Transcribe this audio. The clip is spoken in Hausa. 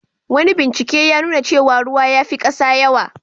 Wani bincike ya nuna cewa ruwa ya fi kasa yawa.